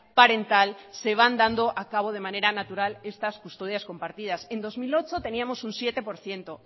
parental se van dando a cabo de manera natural estas custodias compartidas en dos mil ocho teníamos un siete por ciento